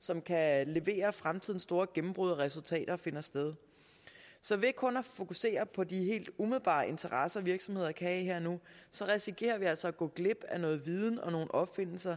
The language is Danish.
som kan levere fremtidens store gennembrud og resultater finder sted så ved kun at fokusere på de helt umiddelbare interesser virksomheder kan have her og nu risikerer vi altså at gå glip af noget viden og nogle opfindelser